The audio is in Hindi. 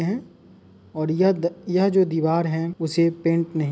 और यह द जो दीवार है उसे पेंट नहीं --